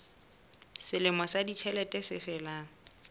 selemo sa ditjhelete se felang